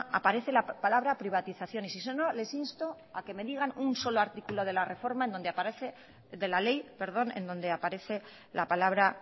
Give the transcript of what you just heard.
aparece la palabra privatización y les insto a que me digan un solo artículo de la ley en donde aparece la palabra